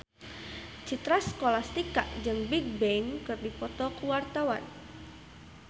Citra Scholastika jeung Bigbang keur dipoto ku wartawan